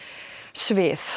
svið